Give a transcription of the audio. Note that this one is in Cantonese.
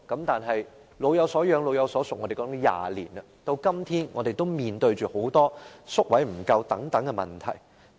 但是，我們說"老有所養、老有所屬"已經20年了，至今我們仍然面對宿位不足等問題。